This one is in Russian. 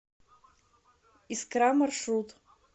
искра маршрут